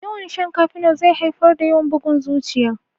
Yawan shan kafenol zai haifar da yawan bugun zuciya